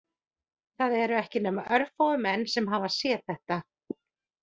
Það eru ekki nema örfáir menn sem hafa séð þetta